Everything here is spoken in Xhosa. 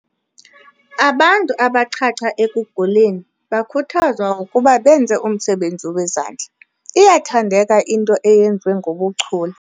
Abantu abachacha ekuguleni bakhuthazwa ukuba benze umsebenzi wezandla. iyathandeka into eyenziwe ngobuchule